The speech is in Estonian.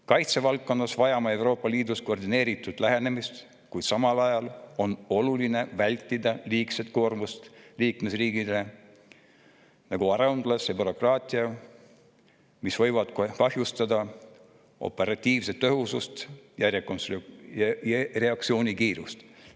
Kaitsevaldkonnas vajame Euroopa Liidus koordineeritud lähenemist, kuid samal ajal on oluline vältida liigset koormust liikmesriikidele, nagu aruandlus ja bürokraatia, mis võivad kahjustada operatiivset tõhusust ja reaktsioonikiirust.